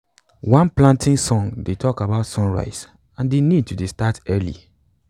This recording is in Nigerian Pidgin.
one planting song dey talk about sunrise and de need to dey start early